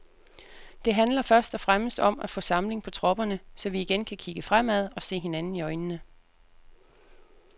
Det handler først og fremmest om at få samling på tropperne, så vi igen kan kigge fremad og se hinanden i øjnene.